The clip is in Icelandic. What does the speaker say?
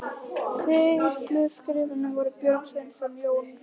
Sýsluskrifararnir voru Björn Sveinsson, Jón Runólfsson og ég.